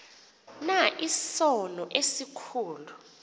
na isono esikhulu